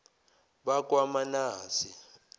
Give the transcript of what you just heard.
bakwamanase